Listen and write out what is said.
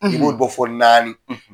An tun b'o bɔ fo naani.